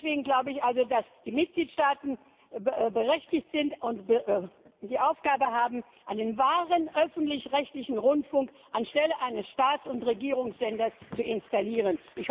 Und deswegen glaube ich also, dass die Mitgliedstaaten berechtigt sind und die Aufgabe haben, einen wahren öffentlich rechtlichen Rundfunk anstelle eines Staats und Regierungssenders zu installieren.